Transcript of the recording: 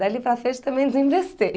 Dali para frente, também